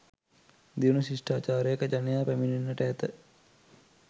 දියුණු ශිෂ්ඨාචාරයක ජනයා පැමිණෙන්නට ඇත.